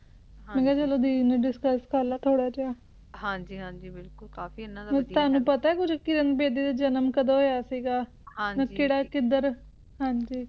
ਮੇਂ ਕਿਹਾ ਚਲੋ ਦੇਖਲੇਂ discuss ਕਾਰਲੇਂ ਥੋੜ੍ਹਾ ਜਯਾ ਹਾਂਜੀ ਹਾਂਜੀ ਕਾਫੀ ਕੁਜ ਆਯ ਯਾਨਾ ਨਡਾ ਤੇ ਤਨੁ ਪਤਾ ਆਯ ਕੁਜ ਕਿਰਣ ਬੇਦੀ ਦਾ ਜਨਮ ਕਦੋਂ ਹੋਯਾ ਸੀਗਾ ਕਿਦਰ ਹਾਂਜੀ